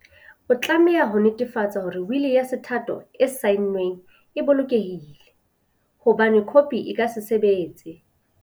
O tlameha ho netefatsa hore wili ya sethatho e saenweng e bolokehile, ho bane khopi e ka se sebetse.